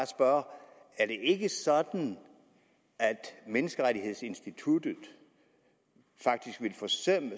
spørge er det ikke sådan at menneskerettighedsinstituttet faktisk ville forsømme